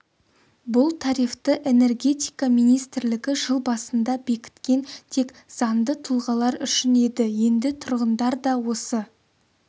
бұл тарифті энергетика министрлігі жыл басында бекіткен тек заңды тұлғалар үшін еді енді тұрғындар да осы